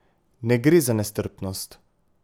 Ne gre za nestrpnost.